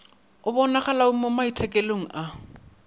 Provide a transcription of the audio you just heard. e bonagalogo mo maitekelong a